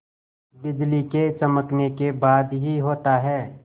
बिजली के चमकने के बाद ही होता है